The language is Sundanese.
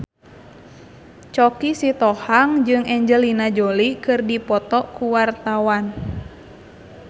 Choky Sitohang jeung Angelina Jolie keur dipoto ku wartawan